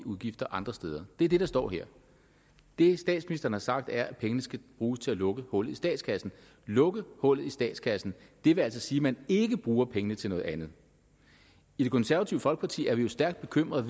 udgifter andre steder det er det der står her det statsministeren har sagt er at pengene skal bruges til at lukke hullet i statskassen lukke hullet i statskassen vil altså sige at man ikke bruger pengene til noget andet i det konservative folkeparti er vi jo stærkt bekymret